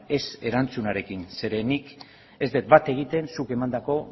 ez erantzunarekin zeren nik ez det bat egiten zuk emandako